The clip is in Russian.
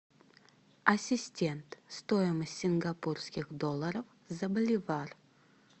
ассистент стоимость сингапурских долларов за боливар